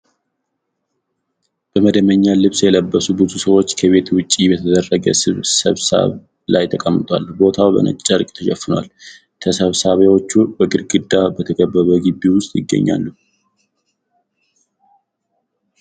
በመደበኛ ልብስ የለበሱ ብዙ ሰዎች ከቤት ውጪ በተደረገ ስብሰባ ላይ ተቀምጠዋል። ቦታው በነጭ ጨርቅ ተሸፍኗል። ተሰብሳቢዎቹ በግድግዳ በተከበበ ግቢ ውስጥ ይገኛሉ።